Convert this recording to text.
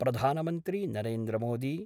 प्रधानमन्त्री नरेन्द्रमोदी